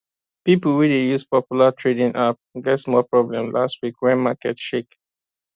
people wey dey use popular trading app get small problem last week when market shake